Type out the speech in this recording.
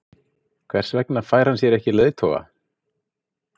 Hver vegna fær hann sér ekki leiðtoga?